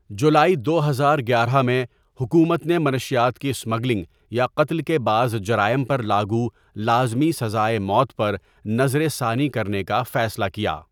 جولائی دو ہزار گیارہ میں، حکومت نے منشیات کی اسمگلنگ یا قتل کے بعض جرائم پر لاگو لازمی سزائے موت پر نظرثانی کرنے کا فیصلہ کیا۔